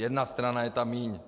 Jedna strana je tam míň.